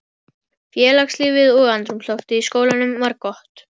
Félagslífið og andrúmsloftið í skólanum var gott.